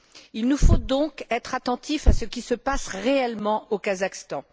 Il nous faut donc être attentifs à ce qui se passe réellement au Kazakhstan.